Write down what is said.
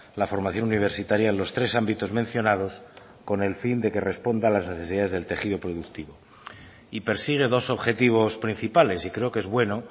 la formación universitaria en los tres ámbitos mencionados con el fin de que responda a las necesidades del tejido productivo y persigue dos objetivos principales y creo que es bueno